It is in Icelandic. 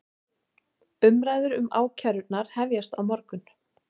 Umræður um ákærurnar hefjast á morgun